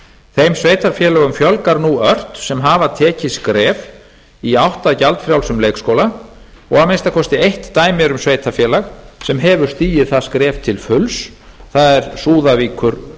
þeim sveitarfélögum fjölgar nú ört sem hafa tekið skref í átt að gjaldfrjálsum leikskóla og að minnsta kosti eitt dæmi er um sveitarfélag sem hefur stigið það skref til fulls það er súðavíkurhreppur